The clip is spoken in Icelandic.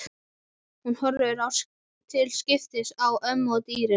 Hún horfir til skiptis á ömmu og dyrnar.